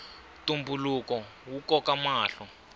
ntumbuluko wu koka mahlo